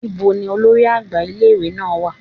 níbo ní olórí àgbà ìlé-ìwé náá wà?